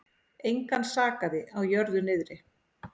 Engan sakaði á jörðu niðri.